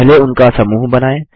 पहले उनका समूह बनाएँ